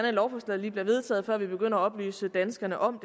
at lovforslaget lige bliver vedtaget før vi begynder at oplyse danskerne om